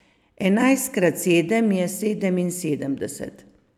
Enajst krat sedem je sedeminsedemdeset.